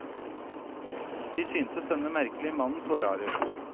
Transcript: De syntes denne merkelige mannen så rar ut.